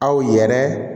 Aw yɛrɛ